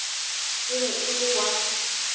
e be e le wa